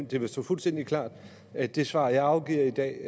vil stå fuldstændig klart at det svar jeg afgiver i dag